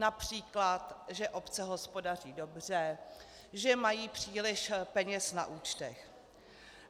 Například že obce hospodaří dobře, že mají příliš peněz na účtech.